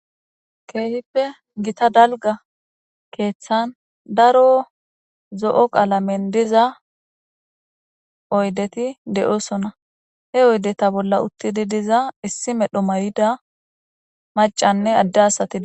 Kehippe daro daliga keeththani daro zoo qalameni diza oyideyi deosoona he oyideta bola uttidi diza issi medhdho mayida maccanne adde asati deosoona